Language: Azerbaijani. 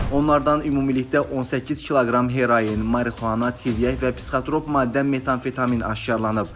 Onlardan ümumilikdə 18 kq heroin, marixuana, tiryək və psixotrop maddə metamfetamin aşkar edilib.